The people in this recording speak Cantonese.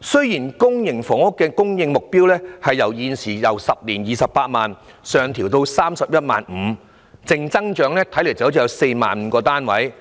雖然公營房屋供應目標由現時10年興建 280,000 間，上調至 315,000 間，淨增長 45,000 個單位，